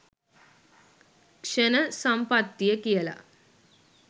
ක්ෂණ සම්පත්තිය කියල.